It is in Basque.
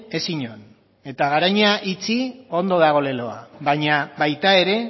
ez inon eta garoña itxi ondo dago leloa baina baita ere